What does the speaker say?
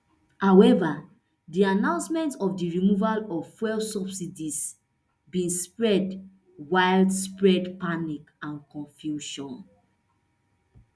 however di announcement of di removal of fuel subsidies bin spread widespread panic and confusion